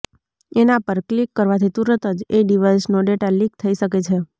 એના પર કિલક કરવાથી તુરંત જ એ ડિવાઈસનો ડેટા લીક થઈ શકે છે